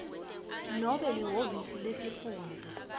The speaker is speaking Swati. nobe lihhovisi lesifundza